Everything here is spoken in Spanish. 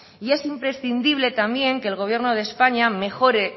y es imprescindible también que el gobierno de españa mejore